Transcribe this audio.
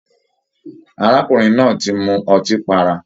Arákùnrin náà tí mú ọtí pará.